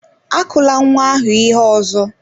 Akụla nwa ahụ ihe ọzọ!